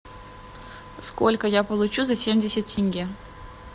сколько я получу за семьдесят тенге